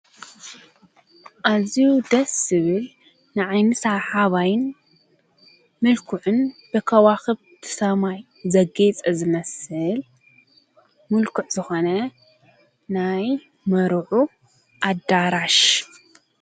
ኣዙ ደስ ስብል ንዓይንሳ ሓባይን ምልኩዕን ብከዋኽብ ቲ ሰማይ ዘጌይጸ ዘመስል ምልኩዕ ዝኾነ ናይ መሩዑ ኣዳራሽ እዩ።